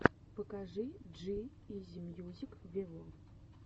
покажи джи изи мьюзик вево